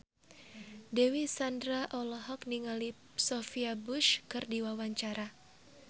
Dewi Sandra olohok ningali Sophia Bush keur diwawancara